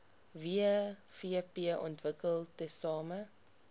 wvp ontwikkel tesame